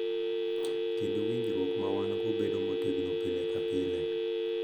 Kendo winjruok ma wan-go bedo motegno pile ka pile.